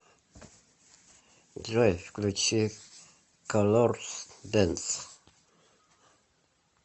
джой включи колорс дэнс